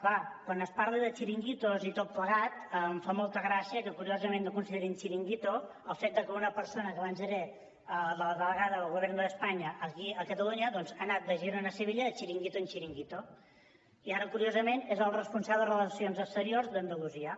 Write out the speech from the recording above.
clar quan es parla de xiringuitos i tot plegat em fa molta gràcia que curiosament no considerin xiringuito el fet que una persona que abans era la delegada del gobierno de españa aquí a catalunya doncs ha anat de girona a sevilla de xiringuito a xiringuito i ara curiosament és el responsable de relacions exteriors d’andalusia